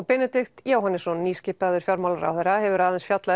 Benedikt Jóhannesson nýskipaður fjármálaráðherra hefur aðeins fjallað